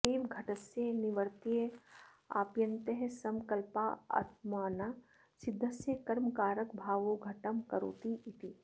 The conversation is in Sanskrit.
अत एव घटस्य निवर्त्यस्याप्यन्तःसंकल्पात्मना सिद्धस्य कर्मकारकभावो घटं करोतीति